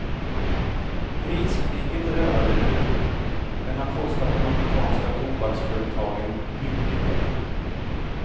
Priskriget är över nu men har kostat de amerikanska tobaksföretagen mycket pengar.